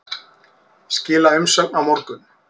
Skila umsögn á morgun